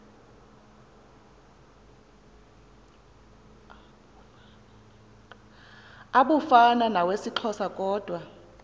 abufana nawesixhosa kodwa